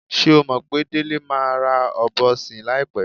S̩é o mò̩ pé Délé máa ra ò̩bo̩ sìn láìpé̩?